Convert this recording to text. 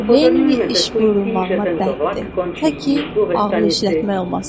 Lenni iş buyrulmağına bənddir, təki ağıl işlətmək olmasın.